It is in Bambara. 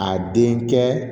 A den kɛ